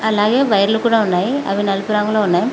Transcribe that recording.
అలాగే వైర్లు కూడ ఉన్నాయి అవి నలుపు రంగులో ఉన్నాయి.